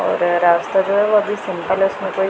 और रास्ता जो है वो अभी सिंपल है उसमें कोई--